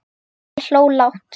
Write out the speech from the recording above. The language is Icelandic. Ég hló lágt.